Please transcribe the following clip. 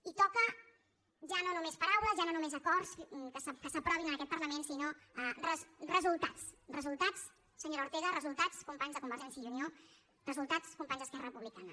i toca ja no només paraules ja no només acords que s’aprovin en aquest parlament sinó resultats resultats senyora ortega resultats companys der convergència i unió resultats companys d’esquerra republicana